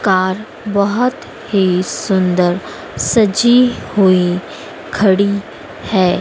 Car बहोत ही सुंदर सजी हुई खड़ी है।